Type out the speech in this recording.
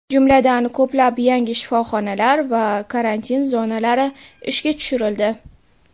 Jumladan, ko‘plab yangi shifoxonalar va karantin zonalari ishga tushirildi.